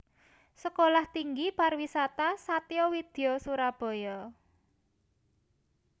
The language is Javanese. Sekolah Tinggi Pariwisata Satya Widya Surabaya